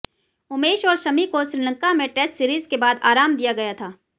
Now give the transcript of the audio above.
उमेश और शमी को श्रीलंका में टेस्ट सीरीज के बाद आराम दिया गया था